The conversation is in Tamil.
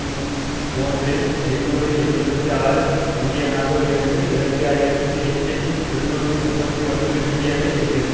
மூன்றில் ஐநூற்று எழுபத்தி ஆறு பில்லியனாக உயர்ந்து இரண்டு ஆயிரத்தி எட்டில் இருநூற்றி முப்பத்தி ஒன்று பில்லியனை எட்டியது